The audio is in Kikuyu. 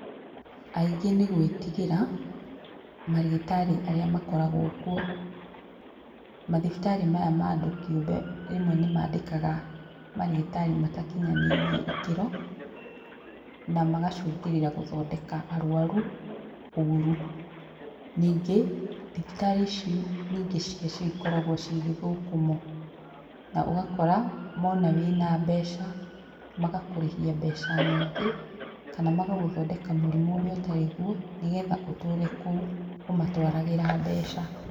Aingĩ nĩ gũĩtigĩra marĩgĩtarĩ arĩa makoragwo kuo. Mathibitarĩ maya ma andũ kĩũmbe rĩmwe nĩmandĩkaga marĩgĩtarĩ matakinyanĩirie ikĩro na magacũngĩrĩra gũthondeka arũaru ũru. Ningĩ thibitarĩ ici nyingĩ ciacio ikoragwo ci gĩthũkũmo ũgakora mona wĩna mbeca magakũrĩhia mbeca nyingĩ kana magagũthondeka mũrimũ ũrĩa ũtarĩ guo nĩgetha ũtũre kũu ũmatwaragĩra mbeca.